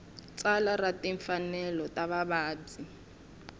tsalwa ra timfanelo ta vavabyi